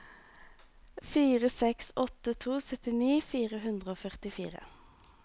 fire seks åtte to syttini fire hundre og førtifire